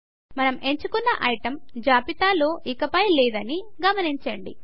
మనం ఎంచుకున్న ఐటమ్ జాబితాలో ఇకపై లేదని గమనించండి